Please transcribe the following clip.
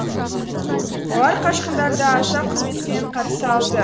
олар қашқындарды аса құрметпен қарсы алды